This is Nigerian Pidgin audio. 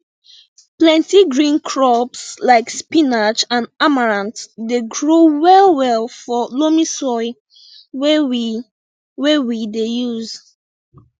plenti green crops like spinach and amaranth dey grow well well for loamy soil wey we wey we dey use